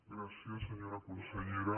gràcies senyora consellera